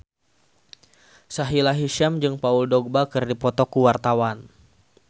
Sahila Hisyam jeung Paul Dogba keur dipoto ku wartawan